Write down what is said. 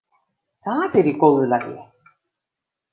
Það er í góðu lagi.